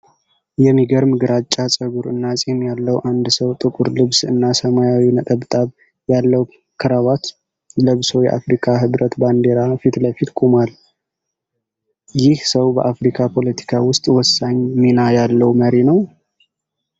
የሚገርም ግራጫ ፀጉር እና ጺም ያለው አንድ ሰው ጥቁር ልብስ እና ሰማያዊ ነጠብጣብ ያለው ክራቫት ለብሶ የአፍሪካ ህብረት ባንዲራ ፊት ለፊት ቆሟል። ይህ ሰው በአፍሪካ ፖለቲካ ውስጥ ወሳኝ ሚና ያለው መሪ ነው?